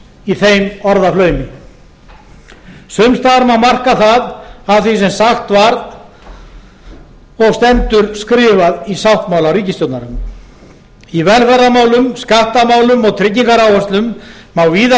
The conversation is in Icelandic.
í þeim orðaflaumi sums staðar má marka það af því sem sagt var og stendur skrifað í sáttmála ríkisstjórnarinnar í velferðarmálum skattamálum og tryggingaáætlun má víða